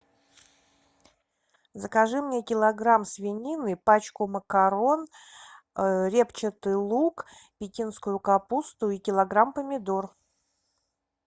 закажи мне килограмм свинины пачку макарон репчатый лук пекинскую капусту и килограмм помидор